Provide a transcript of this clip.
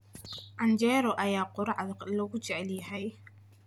Canjeero ayaa quraacda loogu jecel yahay.